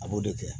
A b'o de kɛ